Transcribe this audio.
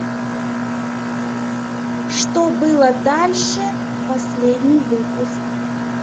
что было дальше последний выпуск